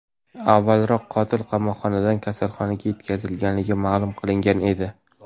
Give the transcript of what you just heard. Avvalroq qotil qamoqxonadan kasalxonaga yetkazilgani ma’lum qilingan edi .